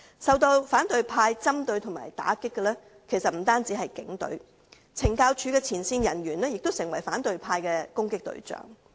受到反對派針對和打擊的其實不單是警隊，懲教署的前線人員亦成為反對派的攻擊對象。